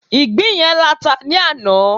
ìgbín yen lata ni ana